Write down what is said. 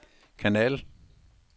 kanal